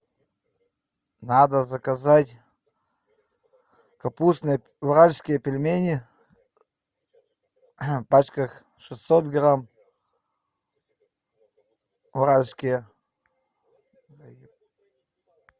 надо заказать капустные уральские пельмени в пачках шестьсот грамм уральские